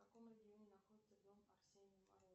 в каком регионе находится дом арсения